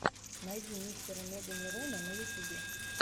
найди мистера меганерона на ютубе